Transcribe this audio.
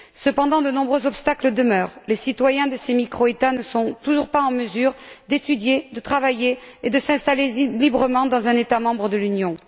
Cependant, de nombreux obstacles demeurent les citoyens de ces micro États ne sont toujours pas en mesure d'étudier, de travailler et de s'installer librement dans un État membre de l'Union.